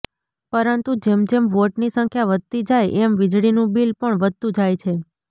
પરતું જેમ જેમ વોટની સંખ્યા વધતી જાય એમ વીજળી નું બીલ પણ વધતું જાય છે